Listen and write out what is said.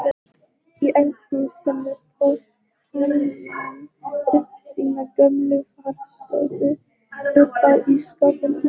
Í eldhúsinu tók hænan upp sína gömlu varðstöðu uppá ísskápnum.